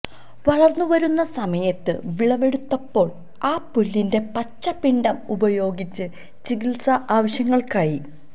വളർന്നുവരുന്ന സമയത്ത് വിളവെടുത്തപ്പോൾ ആ പുല്ലിന്റെ പച്ച പിണ്ഡം ഉപയോഗിച്ച് ചികിത്സാ ആവശ്യങ്ങൾക്കായി